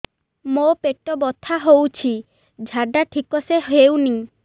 ମୋ ପେଟ ବଥା ହୋଉଛି ଝାଡା ଠିକ ସେ ହେଉନି